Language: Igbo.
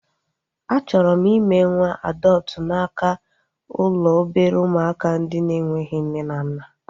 A chọrọ m ime nwa adọptu n'aka ụlọ obere ụmụaka ndị na-enweghị nne na nna